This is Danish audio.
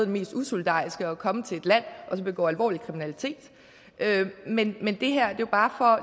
mest usolidariske at komme til et land og så begå alvorlig kriminalitet men men det her er bare for